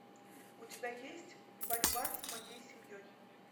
у тебя есть борьба с моей семьей